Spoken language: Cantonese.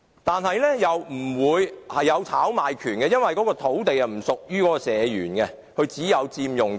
但是，又不會出現炒賣潮，因為土地不屬於社員，他只有佔用權。